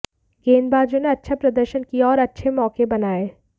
गेंदबाजों ने अच्छा प्रदर्शन किया और अच्छे मौके बनाए